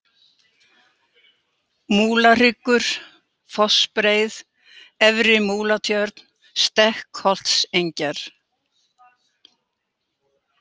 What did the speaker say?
Múlahryggur, Fossbreið, Efri-Múlatjörn, Stekkholtsengjar